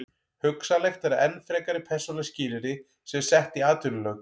Hugsanlegt er að enn frekari persónuleg skilyrði séu sett í atvinnulöggjöf.